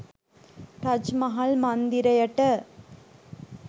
Taj Mahal මන්දිරයට